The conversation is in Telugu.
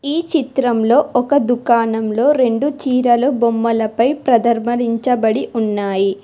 ఈ చిత్రంలో ఒక దుకాణంలో రెండు చీరలు బొమ్మల పై ప్రదర్భరించబడి ఉన్నాయి.